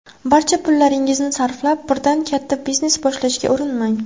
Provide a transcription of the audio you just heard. Barcha pullaringizni sarflab, birdan katta biznes boshlashga urinmang.